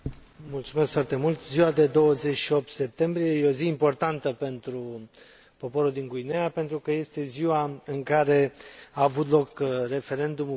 Ziua de 28 septembrie este o zi importantă pentru poporul din Guineea, pentru că este ziua în care a avut loc referendumul pentru independență.